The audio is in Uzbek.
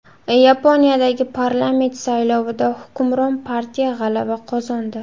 Yaponiyadagi parlament saylovida hukmron partiya g‘alaba qozondi.